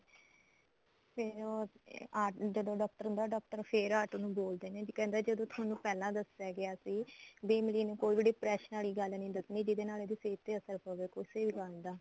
ਫੇਰ ਉਹ ਆਟੋ ਜਦੋਂ ਡਾਕਟਰ ਹੁੰਦਾ ਡਾਕਟਰ ਫੇਰ ਆਟੋ ਨੂੰ ਬੋਲਦੇ ਨੇ ਵੀ ਕਹਿੰਦਾ ਜਦੋਂ ਤੁਹਾਨੂੰ ਪਹਿਲਾਂ ਦੱਸਿਆ ਗਿਆ ਸੀ ਵੀ ਇਮਲੀ ਨੂੰ ਕੋਈ ਵੀ depression ਵਾਲੀ ਗੱਲ ਨੀ ਦੱਸਣੀ ਜਿਹਦੇ ਨਾਲ ਇਹਦੀ ਸਿਹਤ ਤੇ ਅਸਰ ਪਵੇ ਕੁੱਝ ਵੀ ਗੱਲ ਦਾ